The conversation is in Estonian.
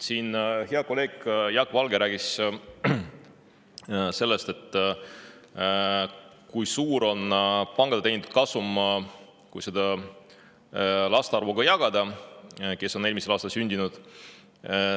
Hea kolleeg Jaak Valge rääkis sellest, kui suur on see summa, kui pankade teenitud suur kasum jagada nende laste arvuga, kes eelmisel aastal sündisid.